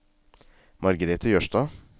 Margrethe Jørstad